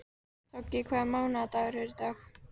Toggi, hvaða mánaðardagur er í dag?